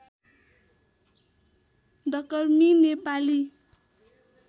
डकर्मी Nepali